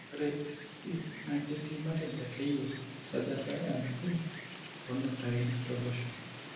Ore ICP naa ketii te matejo akeyie esajata enabo oonutaitin tolosho.